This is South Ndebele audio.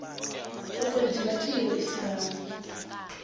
okwenziwa kiyo isibawo